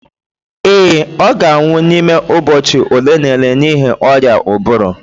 ee, ọ ga-anwụ n'ime ụbọchị ole na ole n'ihi ọrịa ụbụrụ